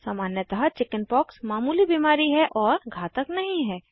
सामान्यतः चिकिन्पॉक्स मामूली बीमारी है और घातक नहीं है